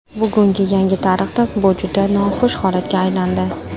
Bugungi yangi tarixda bu juda noxush holatga aylandi.